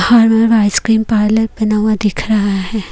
Farmer ice cream parlour बना हुआ दिख रहा है।